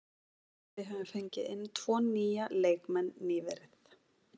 Við höfum fengið inn tvo nýja leikmenn nýverið.